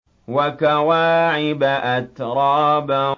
وَكَوَاعِبَ أَتْرَابًا